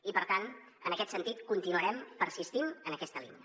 i per tant en aquest sentit continuarem persistint en aquesta línia